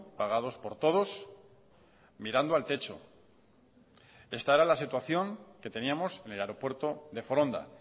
pagados por todos mirando al techo esta era la situación que teníamos en el aeropuerto de foronda